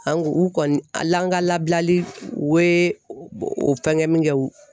An ku u kɔni an ka labilali u ye o fɛnkɛ min kɛ u